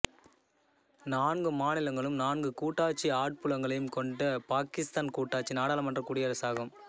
நான்கு மாநிலங்களும் நான்கு கூட்டாட்சி ஆட்புலங்களையும் கொண்ட பாக்கிஸ்தான் கூட்டாட்சி நாடாளுமன்ற குடியரசாகும்